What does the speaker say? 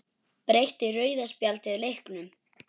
Breytti rauða spjaldið leiknum?